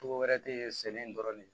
Togo wɛrɛ tɛ sɛnɛ in dɔrɔn de